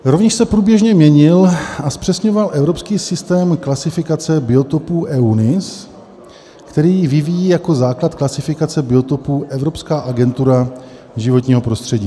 Rovněž se průběžně měnil a zpřesňoval evropský systém klasifikace biotopů EUNIS, který vyvíjí jako základ klasifikace biotopů Evropská agentura životního prostředí.